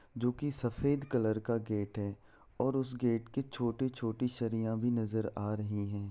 जो की सफेद कलर का गेट है और उस गेट के छोटे-छोटे भी नजर आ रहे है।